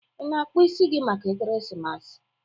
Ị na-akpụ isi gị maka Ekeresimesi?